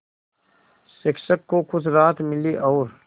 शिक्षक को कुछ राहत मिली और